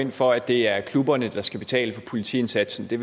ind for at det er klubberne der skal betale for politiindsatsen det